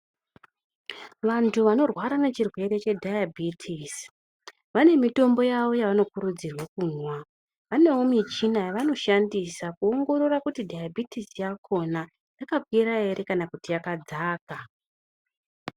Vantu vanorwara ne chirwere che dhayabhitisi vane mitombo yavo yavano kurudzirwa kumwa vanewo michina yavano shandisa ku ongorora kuti dhayabhitisi yakona yaka kwira ere kana kuti yakadzaka.